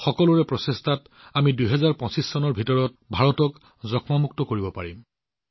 সব কা প্ৰয়াসৰ এই মনোভাৱত আমি ২০২৫ চনৰ ভিতৰত ভাৰতৰ পৰা টিবি নিৰ্মূলৰ দিশতো কাম কৰি আছো